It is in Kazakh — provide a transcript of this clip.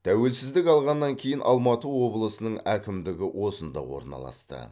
тәуелсіздік алғаннан кейін алматы облысының әкімдігі осында орналасты